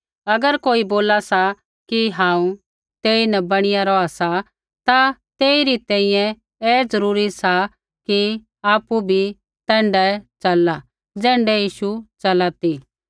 अगर कोई बोला सा कि हांऊँ तेईन बणी रौहा सा ता तेइरी तैंईंयैं ऐ ज़रूरी सा कि आपु बी तैण्ढाऐ च़लला ज़ैण्ढा यीशु च़ला ती